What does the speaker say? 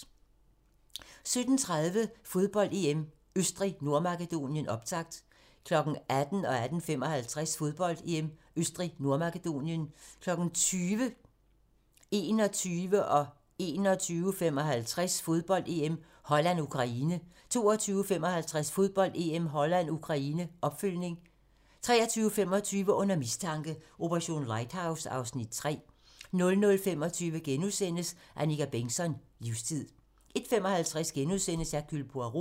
17:30: Fodbold: EM - Østrig-Nordmakedonien, optakt 18:00: Fodbold: EM - Østrig-Nordmakedonien 18:55: Fodbold: EM - Østrig-Nordmakedonien 20:00: Fodbold: EM - Holland-Ukraine, optakt 21:00: Fodbold: EM - Holland-Ukraine 21:55: Fodbold: EM - Holland-Ukraine 22:55: Fodbold: EM - Holland-Ukraine - opfølgning 23:25: Under mistanke: Operation Lighthouse (Afs. 3) 00:25: Annika Bengtzon: Livstid * 01:55: Hercule Poirot *